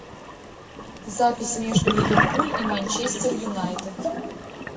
запись между ливерпуль и манчестер юнайтед